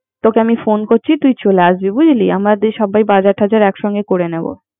তোকে আমি ফোন করিছি। তুই চলে আসবি বুঝলি। আমাদের সাবার বাজার টাজার এক সংগে করে নিব